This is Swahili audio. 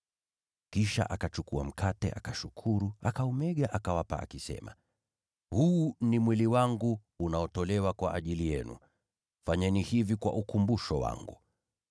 Kisha akachukua mkate, akashukuru, akaumega, na kuwapa, akisema, “Huu ni mwili wangu unaotolewa kwa ajili yenu. Fanyeni hivi kwa ukumbusho wangu.”